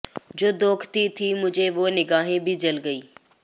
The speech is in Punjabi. ਜੋ ਦੋਖਤੀ ਥੀਂ ਮੁਝੇ ਵੋਹ ਨਿਗਾਹੇਂ ਭੀ ਜਲ ਗਈਂ